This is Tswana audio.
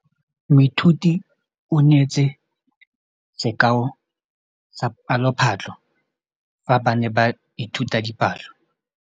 Moithuti o neetse sekaô sa palophatlo fa ba ne ba ithuta dipalo.